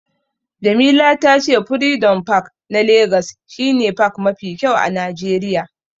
Jamila ta ce furidom pak na legas shi ne pak mafi kyau a najeriya